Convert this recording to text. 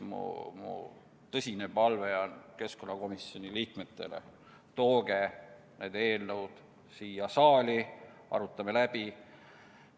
Mul on tõsine palve keskkonnakomisjoni liikmetele: tooge need eelnõud siia saali, arutame läbi!